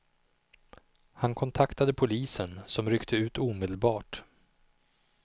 Han kontaktade polisen som ryckte ut omedelbart.